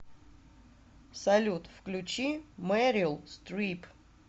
салют включи мэрил стрип